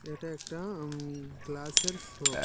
এটা একটা আম গ্লাসের শপ ।